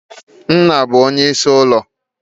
Nna bụ onyeisi ezinụlọ.